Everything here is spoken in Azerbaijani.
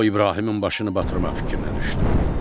O İbrahimin başını batırmaq fikrinə düşdü.